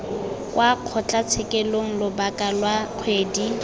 kwa kgotlatshekelo lobaka lwa kgwedi